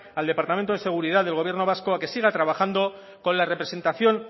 al departamento de seguridad del gobierno vasco a que siga trabajando con la representación